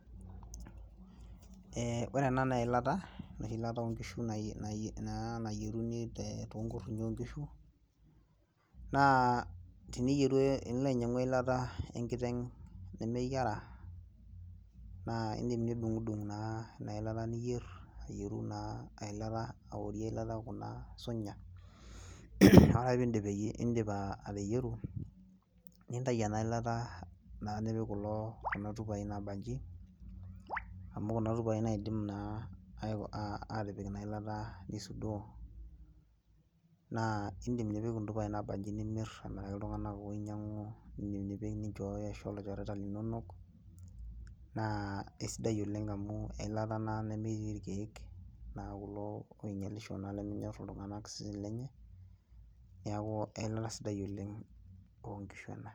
Eeh ore ena naa eilata enoshi ilata oonkishu nayieruni toonkurinyio oonkishu naa tenilo ainyiang'u eilata enkiteng nemeyiara naa indiim nidung'udung naa ina ilata niyier naa ayierie ang'adie kuna sunya naa ore ake peeindip ateyieru nintayu ena ilata naa nipik kuna tupai naambaji amu kuna. Tupai naidim naa atipik inailata naa indip nipik intupai naabanji nimir amiraki iltung'anak ooinyiang'u indiim atipika nincho ilchoreta linonok naa esidai oleng amu eilata naa ena nemetii irkiek naa kulo oinyiang'isho tooseseni linonok neeku eilata sidai oleng oonkishu ena.